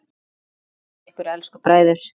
Guð geymi ykkur elsku bræður.